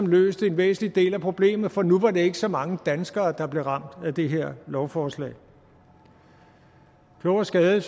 løst en væsentlig del af problemet for nu var det ikke så mange danskere der blev ramt af det her lovforslag klog af skade